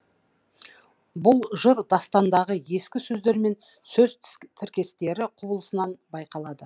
бұл жыр дастандағы ескі сөздермен сөз тіркестері құбылысынан байқалады